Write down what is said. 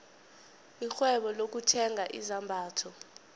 irhwebo lokuthenga izambatho